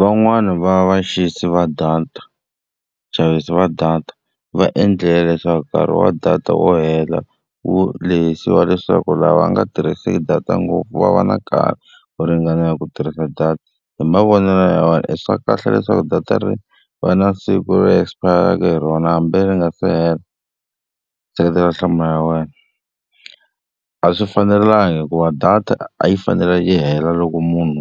Van'wani va vaxisi va data vaxavisi va data va endlile leswaku nkarhi wa data wo hela wu lehisa wa leswaku lava nga tirhiseki data ngopfu va va na nkarhi wo ringanela hi ku tirhisa data. Hi mavonelo ya wena i swa kahle leswaku data ri va na siku ro esipayaraka hi rona hambi ri nga se hela? Seketela nhlamulo ya wena. A swi fanelanga hikuva data a yi fanele yi hela loko munhu